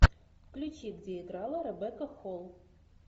включи где играла ребекка холл